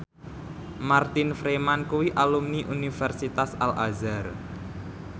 Martin Freeman kuwi alumni Universitas Al Azhar